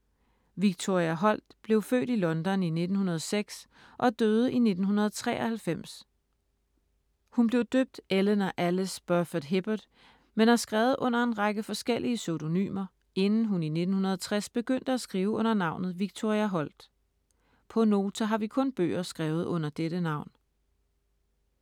Victoria Holt blev født i London i 1906 og døde i 1993. Hun blev døbt Eleanor Alice Burford Hibbert, men har skrevet under en række forskellige pseudonymer, inden hun i 1960 begyndte at skrive under navnet Victoria Holt. På Nota har vi kun bøger skrevet under dette navn.